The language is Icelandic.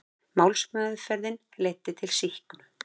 Málsmeðferðin leiddi til sýknu